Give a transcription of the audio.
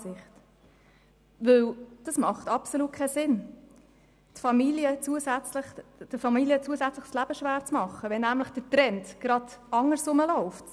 Es ergibt absolut keinen Sinn, den Familien zusätzlich das Leben schwerzumachen, wenn der Trend gerade in die entgegengesetzte Richtung verläuft.